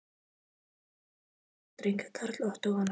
Þau eiga sex ára dreng, Karl Ottó að nafni.